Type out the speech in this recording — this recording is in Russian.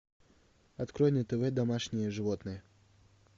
открой на тв домашние животные